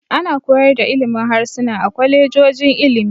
Ana koyar da ilimin harsuna a kwalejojin ilimi.